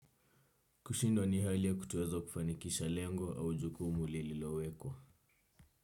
Kushindwa ni hali ya kutoweza kufanikisha lengo au jukumu lililowekwa.